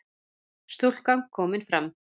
Stúlkan komin fram